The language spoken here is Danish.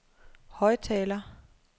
højttaler